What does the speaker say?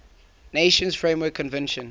nations framework convention